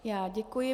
Já děkuji.